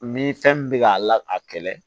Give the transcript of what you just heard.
Ni fɛn min bɛ k'a la a kɛlɛ